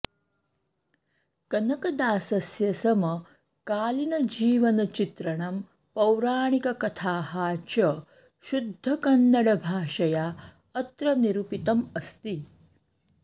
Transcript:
कनकदासस्य समकालीनजीवनचित्रणं पौराणिककथाः च शुद्धकन्नडभाषया अत्र निरूपितम् अस्ति